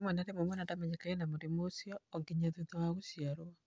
Rĩmwe na rĩmwe, mwana ndamenyekaga ena mũrimũ ũcio o nginya thutha wa gũciarũo.